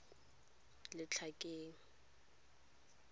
letlhakeng